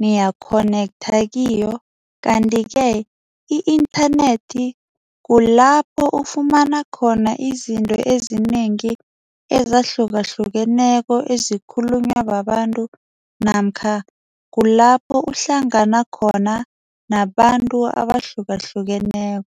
niya-connector kiyo. Kanti-ke i-internet kulapho ufumana khona izinto ezinengi ezahlukahlukeneko ezikhulunywa babantu namkha kulapho uhlangana khona nabantu abahlukahlukeneko.